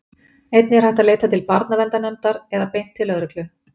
Einnig er hægt að leita til barnaverndarnefndar eða beint til lögreglu.